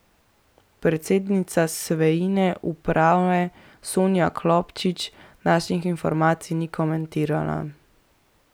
Predsednica Sveine uprave Sonja Klopčič naših informacij ni komentirala.